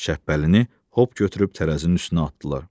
Şəbbəlini hop götürüb tərəzinin üstünə atdılar.